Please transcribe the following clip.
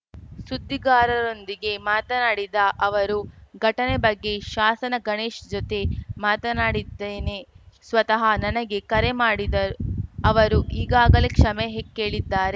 ಸುದ್ದಿಗಾರರೊಂದಿಗೆ ಮಾತನಾಡಿದ ಅವರು ಘಟನೆ ಬಗ್ಗೆ ಶಾಸನ ಗಣೇಶ್‌ ಜೊತೆ ಮಾತನಾಡಿದ್ದೇನೆ ಸ್ವತಃ ನನಗೆ ಕರೆ ಮಾಡಿದ ಅವರು ಈಗಾಗಲೇ ಕ್ಷಮೆ ಹೆ ಕೇಳಿದ್ದಾರೆ